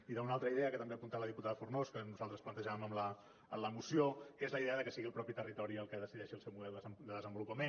i d’una altra idea que també ha apuntat la diputada fornós que nosaltres plantejàvem en la moció que és la idea que sigui el mateix territori el que decideixi el seu model de desenvolupament